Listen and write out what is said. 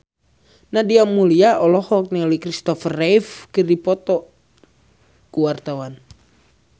Nadia Mulya olohok ningali Kristopher Reeve keur diwawancara